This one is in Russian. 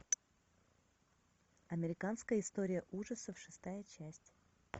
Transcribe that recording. американская история ужасов шестая часть